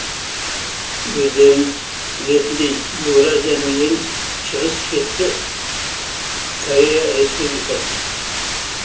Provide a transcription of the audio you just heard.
өздеріңіз білетіндей еуразияның ең шығыс шеті корея республикасы